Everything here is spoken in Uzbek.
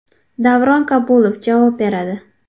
Davron Kabulov javob beradi .